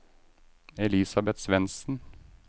Elisabeth Svendsen